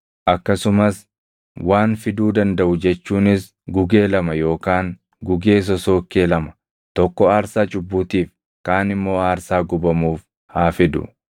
akkasumas waan fiduu dandaʼu jechuunis gugee lama yookaan gugee sosookkee lama, tokko aarsaa cubbuutiif kaan immoo aarsaa gubamuuf haa fidu.